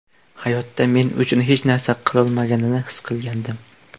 Hayotda men uchun hech narsa qolmaganini his qilgandim”.